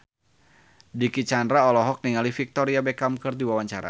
Dicky Chandra olohok ningali Victoria Beckham keur diwawancara